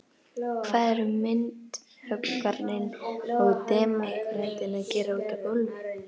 Hvað eru myndhöggvarinn og demókratinn að gera úti á gólfi.